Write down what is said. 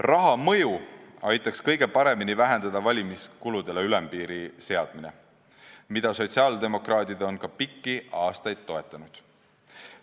Raha mõju aitaks kõige paremini vähendada valimiskuludele ülempiiri seadmine, mida sotsiaaldemokraadid on pikki aastaid ka toetanud.